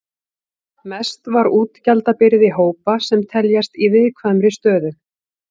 Mest var útgjaldabyrði hópa sem teljast í viðkvæmri stöðu.